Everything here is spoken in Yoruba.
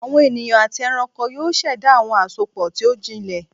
Awọn eniyan ati ẹranko yoo ṣẹda awọn asopọ ti o jinlẹ